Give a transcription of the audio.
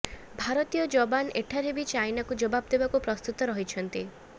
ଭାରତୀୟ ଯବାନ ଏଠାରେ ବି ଚାଇନାକୁ ଜବାବ ଦେବାକୁ ପ୍ରସ୍ତୁତ ରହିଛନ୍ତି